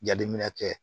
Jateminɛ kɛ